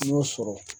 N y'o sɔrɔ